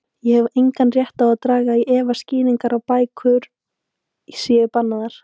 Ég hef engan rétt til að draga í efa skýringarnar á að bækur séu bannaðar.